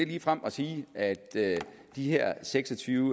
ligefrem at sige at de her seks og tyve